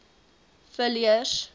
villiers